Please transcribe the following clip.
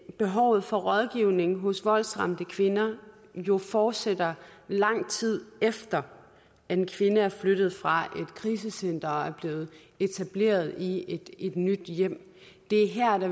behovet for rådgivning hos voldsramte kvinder jo fortsætter i lang tid efter en kvinde er flyttet fra et krisecenter og har etableret sig i et nyt hjem det er her